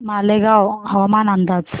मालेगाव हवामान अंदाज